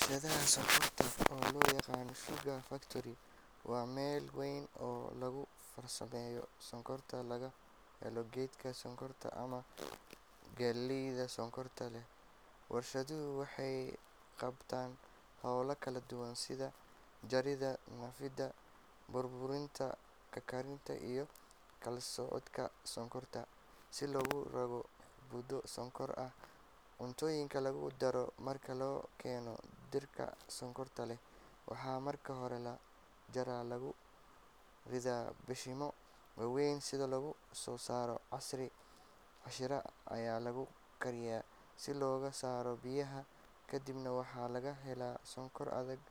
Warshadda sonkorta oo loo yaqaan sugar factory waa meel weyn oo lagu farsameeyo sonkorta laga helo geedka sonkorta ama galleyda sonkorta leh. Warshaddu waxay qabataa howlo kala duwan sida jaridda, nadiifinta, burburinta, karkarinta iyo kala-soocidda sonkorta si loogu rogo budo sonkor ah oo cuntooyinka lagu daro. Marka la keeno dhirta sonkorta leh, waxaa marka hore la jaraa oo lagu ridaa mashiinno waaweyn si looga soo saaro casiir. Casiirkaas ayaa lagu karkariyaa si looga saaro biyaha, kadibna waxaa laga helaa sonkor adag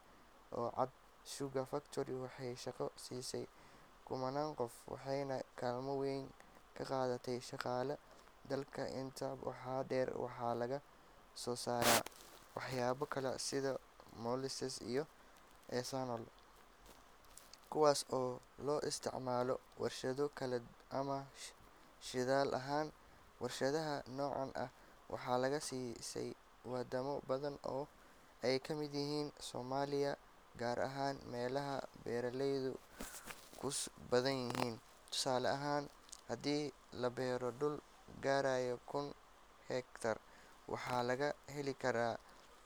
oo cad. Sugar factory waxay shaqo siisay kumannaan qof, waxayna kaalmo weyn ka qaadataa dhaqaalaha dalka. Intaa waxaa dheer, waxa laga soo saaraa waxyaabo kale sida molasses iyo ethanol, kuwaas oo loo isticmaalo warshado kale ama shidaal ahaan. Warshadaha noocan ah waxaa laga dhisay wadamo badan oo ay ka mid yihiin Soomaaliya, gaar ahaan meelaha beeralaydu ku badan yihiin. Tusaale ahaan, haddii la beero dhul gaaraya kun hektar, waxaa laga heli karaa.